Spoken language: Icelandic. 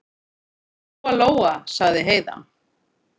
Lóa-Lóa, sagði Heiða.